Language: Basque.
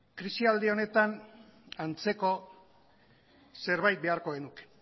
krisialdi honetan antzeko zerbait beharko genuke